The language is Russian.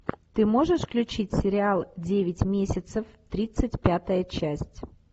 ты можешь включить сериал девять месяцев тридцать пятая часть